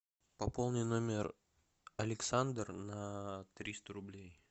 пополни номер александр на триста рублей